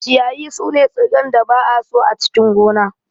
Ciyayi sune tsirran da ba'a so a cikin gona.